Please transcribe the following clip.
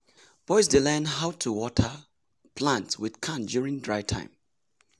boys dey learn how to water plant with can during dry time.